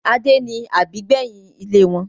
Adé ni àbígbẹ́yìn ilé wọn